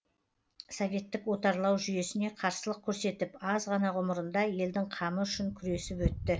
советтік отарлау жүйесіне қарсылық көрсетіп аз ғана ғұмырында елдің қамы үшін күресіп өтті